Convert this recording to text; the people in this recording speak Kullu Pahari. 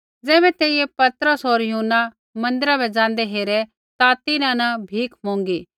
ज़ैबै तेइयै पतरस होर यूहन्ना मन्दिरा बै ज़ाँदै हेरै ता तिन्हां न भीख मौंगी